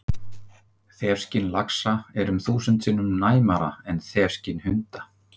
Þefskyn laxa er um þúsund sinnum næmara en þefskyn hunda!